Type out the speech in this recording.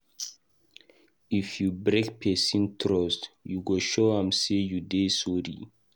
If you break pesin trust, you go show am sey you dey sorry.